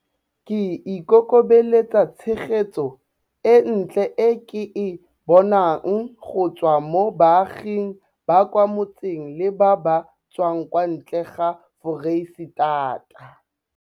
Ke ikokobeletsa tshegetso e ntle e ke e bonang go tswa mo baaging ba kwa motseng le ba ba tswang kwa ntle ga Foreisetata.